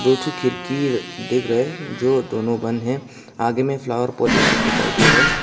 खिड़की दिख रहे है जो दोनों बंद हैं आगे में फ्लावर पॉट ये सब दिखाई दे रहा है।